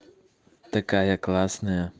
такая классная